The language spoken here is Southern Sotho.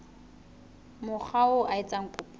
mokga oo a etsang kopo